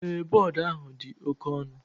Ee, board ahu di oke onu